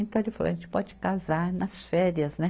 Então ele falou, a gente pode casar nas férias, né?